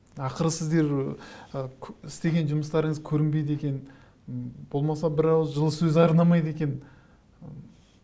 ақыры сіздер ы істеген жұмыстарыңыз көрінбейді екен болмаса бір ауыз сөз арнамайды екен